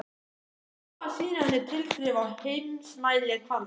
Hann hafði lofað að sýna henni tilþrif á heimsmælikvarða!